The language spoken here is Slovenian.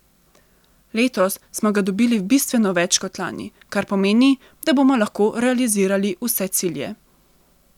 Letos smo ga dobili bistveno več kot lani, kar pomeni, da bomo lahko realizirali vse cilje.